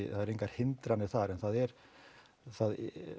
það eru engar hindranir þar en það er það